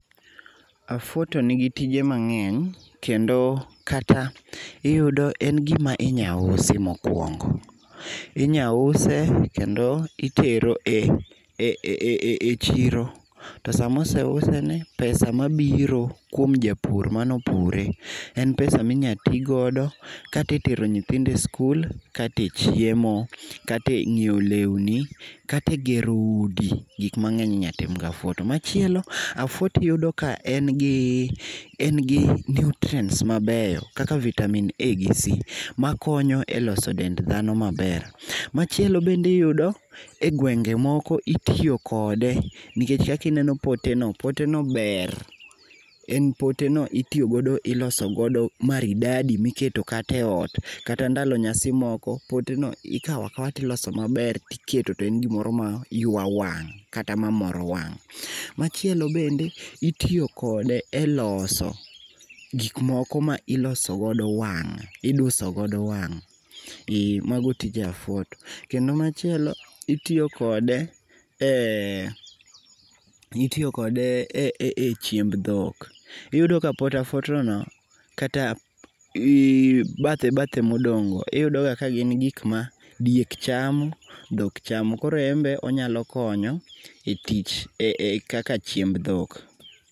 Afuoto tonigi tije mang'eny. Kendo kata iyudo en gima inyausi mokuongo. Inyause kendo itero e chiro. To sama oseuse ni pesa mabiro kuom japur manopure en pesa minyatigodo kata e tero nyithindo e skul, kata e chiemo, kata e nyiewo lewni, kata e gero udi, gik mang'eny inyatim gi afuoto. Machielo afuoto iyudo ka en gi, en gi nutrients mabeyo kaka vitamin A gi C makonyo e loso dend dhano maber. Machielo bende iyudo e gwenge moko itiyo kode nikech kaka ineno pote no, pote no ber. En pote no itiyogodo, iloso godo maridadi miketo kata e ot, kata ndalo nyasi moko, pote no ikaw akawa tiloso maber tiketo to en gimoro ma yua wang' kata mamoro wang'. Machielo bende itiyo kode e loso gik moko ma iloso godo wang', iduso godo wang'. E mago tije afuoto. Kendo machielo, itiyo kode e, itiyo kode e chiemb dhok. Iyudo ka pot afuoto no kata bathe bathe modong' go, iyudo ga ka gin gik ma diek chamo, dhok chamo. Koro en be onyalo konyo e tich e kaka chiemb dhok.